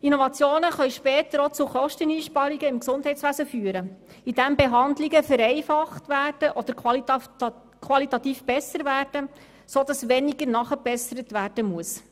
Innovationen können später auch zu Kosteneinsparungen im Gesundheitswesen führen, indem Behandlungen vereinfacht oder qualitativ verbessert werden, sodass weniger nachgebessert werden muss.